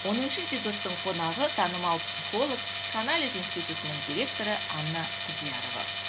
оныншы эпизодтың қонағы танымал психолог психоанализ институтының директоры анна құдиярова